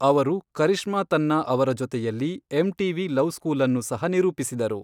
ಅವರು, ಕರಿಷ್ಮಾ ತನ್ನಾ ಅವರ ಜೊತೆಯಲ್ಲಿ ಎಂ.ಟಿ.ವಿ. ಲವ್ ಸ್ಕೂಲನ್ನು ಸಹ ನಿರೂಪಿಸಿದರು.